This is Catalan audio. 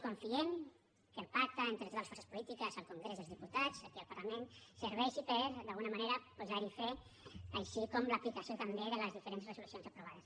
confiem que el pacte entre totes les forces polítiques al congrés dels diputats aquí al parlament serveixi per d’alguna manera posar hi fre així com l’aplicació també de les diferents resolucions aprovades